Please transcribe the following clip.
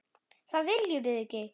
Það viljum við ekki.